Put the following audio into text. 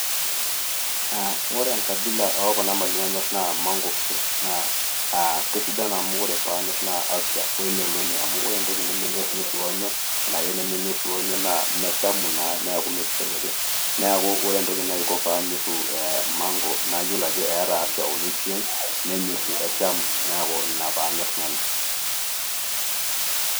Aa ore enkabila ookuna mali nanu nanyorr naa mango fruit naa keisidan amu ore paanyor naa afya wemeloni. Ore entoki nemenyorunyoru onyo anake nemenyorunyoru onyo naa meshamu naa niaku imesidai ake. Niaku ore entoki naisho paanyoru [cs[mango naa eeta afya o nutrients esham niaku ina paanyor nena